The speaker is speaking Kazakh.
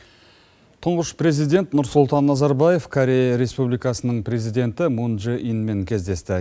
тұңғыш президент нұрсұлтан назарбаев корея республикасының президенті мун дже инмен кездесті